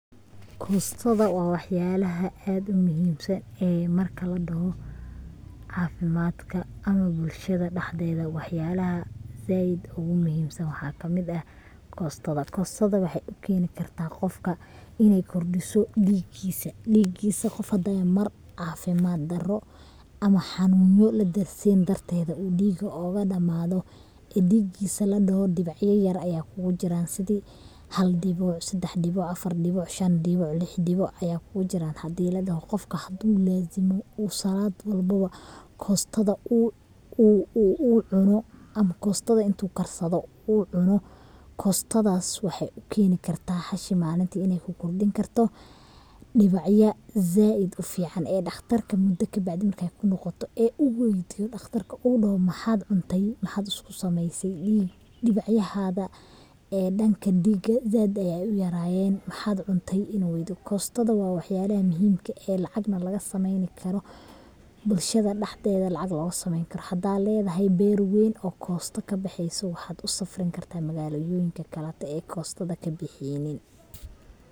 Kostada waa waxyalaha aadka u muhiimsan ee marka ladhoho caafimadka ama bulshada dhaxdeeda wax yakaha zaaid ogu muhiimsan waxa kamid eh kostada, kostada waxay ukeeni kartaa qofka inay kordiso dhigiisa, dhigiisa Mar caafimad daro ama xaanuno laderseen darteeda uu dhiga oga dhamaado ee dhigiisa ladhoho dhibicyo yar aya kugu jiraan sidi hal dhibic, laba dhibic, sedex dhibic, Afar dhibic, shan dhibic, lix dhibic aya kugu jiraan hadii ladhoho, qofka haduu laazimo oo salad walboba kostada uu cuno ama kostada intu karsado u cuno kostadaas waxay ukeeni karta hashi malinti inay kukordhin karto dhibacya zaaid u fican ee dhaqtarta muda kabacdi markay kunoqoto ee u weydiyo ee dhaqtarka uu dhoho maxaad cuntay maxaad isku sameeyse, dhibacyadaha dhanka dhiga zaaid aya uyarayeen maxad cunte inu weydiyo, kostoda wa wax yalaha muhiimka eh ee lacagna laga sameeyni karo, bulshada dhaxdeeda lacag loga sameeyni karo hadad ledahay beer weyn oo kosto kabexeyso waxad u safrin kartaa magaalayonika kalate ee kostoda kabaxeynin